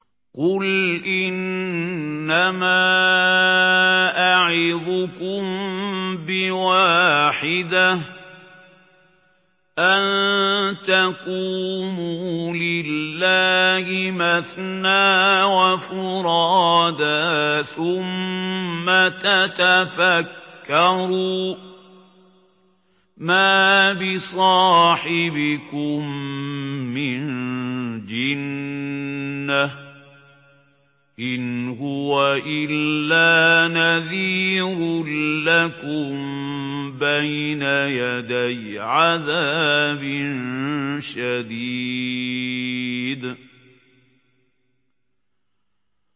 ۞ قُلْ إِنَّمَا أَعِظُكُم بِوَاحِدَةٍ ۖ أَن تَقُومُوا لِلَّهِ مَثْنَىٰ وَفُرَادَىٰ ثُمَّ تَتَفَكَّرُوا ۚ مَا بِصَاحِبِكُم مِّن جِنَّةٍ ۚ إِنْ هُوَ إِلَّا نَذِيرٌ لَّكُم بَيْنَ يَدَيْ عَذَابٍ شَدِيدٍ